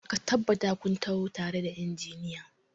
Ka tabbata kun taho tare da injiniyan!